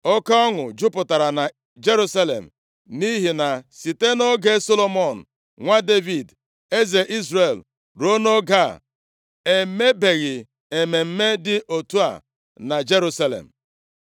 Oke ọṅụ jupụtara na Jerusalem nʼihi na site nʼoge Solomọn nwa Devid, eze Izrel ruo nʼoge a, e mebeghị mmemme dị otu a na Jerusalem.